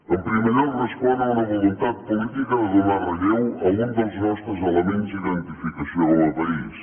en primer lloc respon a una voluntat política de donar relleu a un dels nostres elements d’identificació com a país